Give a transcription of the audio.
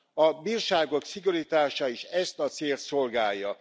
A bírságok szigorítása is ezt a célt szolgálja.